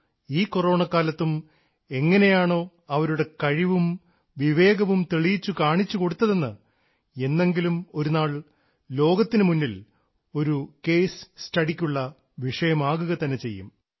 ഈ കൊറോണക്കാലത്തും എങ്ങനെയാണോ അവരുടെ കഴിവും വിവേകവും തെളിയിച്ചു കാണിച്ചു കൊടുത്തതെന്ന് എന്നെങ്കിലും ഒരുനാൾ ലോകത്തിനു മുന്നിൽ ഒരു കേസ് സ്റ്റഡിക്കുള്ള വിഷയമാകുക തന്നെ ചെയ്യും